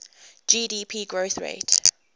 gdp growth rate